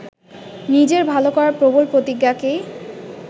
নিজের ভালো করার প্রবল প্রতিজ্ঞাকেই